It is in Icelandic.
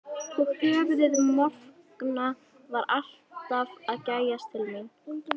Og höfuðið morkna var alltaf að gægjast til mín.